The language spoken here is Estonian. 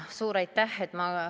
Suur aitäh!